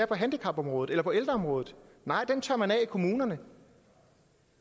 på handicapområdet eller på ældreområdet nej den tørrer man af kommunerne